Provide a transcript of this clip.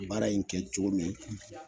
Baara in kɛ cogo min